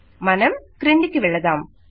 మనం క్రిందికి వెళదాం